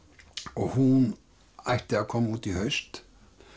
og hún ætti að koma út í haust